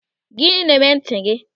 Gịnị na-eme ntị gị?